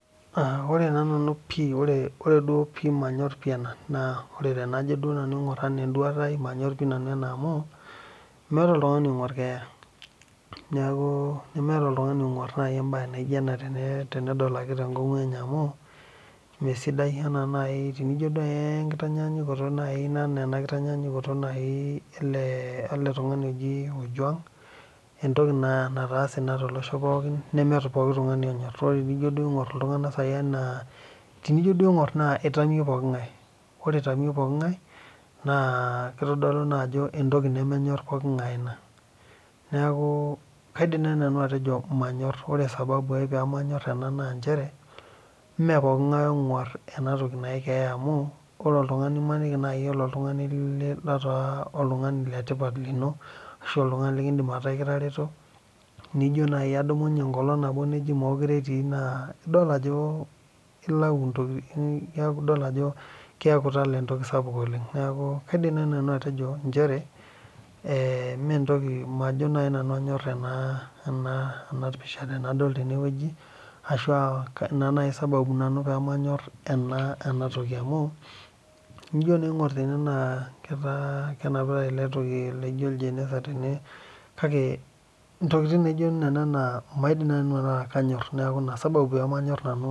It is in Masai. Ore taa nanu manyor ena pii amu tenaing'or nanu ena enduata ai manyor nanu pii amu meeta oltung'ani onyor keeta neeku nemeeta oltung'ani onguar embae naijio ena tenedol ake tee nkongu enye amu mesidai tenijo naaji tee nkitanyayukoto naaji ele tung'ani ojuag entoki Nastase too losho pookin tenijo naaji aing'or iltung'ana enaa tenijoo duo aing'or eitamio pooki ngae ore eitamio pooki ngae edol Ajo mbae nemenyor pooki ngae ena neeku kaidim naaji naanu atejo manyor ore sababu pee manyor ena mmee pooki ngae onguar ena toki naaji keeya amu emaniki najii elo oltung'ani litaa oltung'ani letipat lino ashu oltung'ani likitareto nijo naaji adumunye enkolog nabo nejia mekure etiu naa edol Ajo eladuo ntokitin keeku etala entoki sapuk oleng neeku kaidim naaji nanu atejo manyor ena pisha tenadol tene ashu ena naaji sababu pee manyor ena toki amu tenijo naa aing'or tene naa kenapitai ele toki laijio oljeneza tene kake ntokitin Nena naa maidim naaji nanu ataa kanyor neeku ena sababu nanu paa mayor